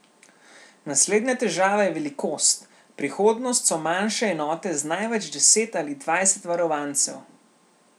Naslednja težava je velikost, prihodnost so manjše enote z največ deset ali dvajset varovancev.